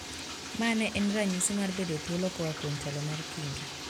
Ma ne en ranyisi mar bedo thuolo koa kuom telo mar kingi